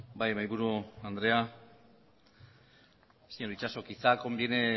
bai mahaiburu andrea señor itxaso quizá conviene